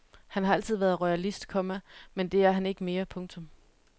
Han har altid været royalist, komma men det er han ikke mere. punktum